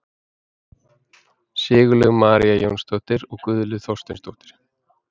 Sigurlaug María Jónsdóttir og Guðlaug Þorsteinsdóttir.